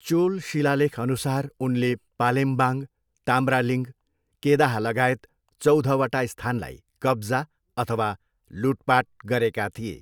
चोल शिलालेखअनुसार उनले Palembang, Tambralinga, केदाहलगायत चौधवटा स्थानलाई कब्जा अथवा लुटपाट गरेका थिए।